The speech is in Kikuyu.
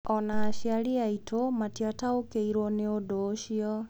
O na aciari aitũ matiataũkĩirũo nĩ ũndũ ũcio.